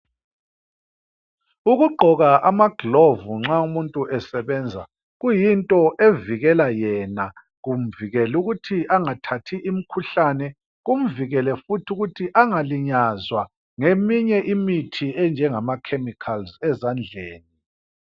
Ukugqoka amagilovu nxa umuntu esebenza kuyinto evikela yena, kumvike' ukuthi angathathi imkhuhlane, kumvikele futhi ukuthi engalinyazwa ngeminye imithi enjengama khemikhalzi ezandleni.